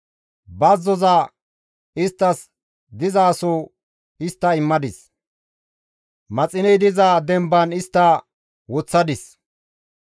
Bazzoza isttas dizaso histta immadis; maxiney diza demban istta woththadis.